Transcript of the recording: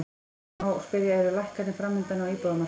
Því má spyrja, eru lækkanir framundan á íbúðamarkaði?